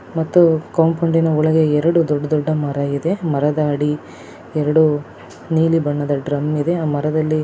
ಮತ್ತೆ ಕಾಂಪೋಂಡ್ ಒಳಗೆ ಎರಡು ದೊಡ್ಡ ದೊಡ್ಡ ಮರಗಳಿವೆ. ಮರದ ಅಡಿ ಎರಡು ನೀಲಿ ಬಣ್ಣದ ಡ್ರಾಮ್ ಇದೆ ಆ ಮರದಲ್ಲಿ.